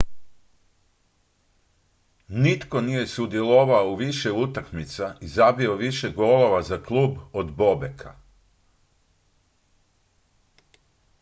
nitko nije sudjelovao u više utakmica i zabio više golova za klub od bobeka